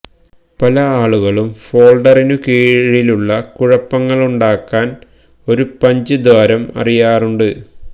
പല ആളുകളും ഫോൾഡറിനു കീഴിലുള്ള കുഴപ്പങ്ങളുണ്ടാക്കാൻ ഒരു പഞ്ച് ദ്വാരം അറിയാറുണ്ട്